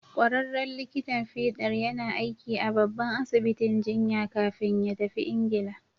Ƙwararren likitan fiɗar yana aiki a babban asibitin jiya kafin ya tafi Ingila.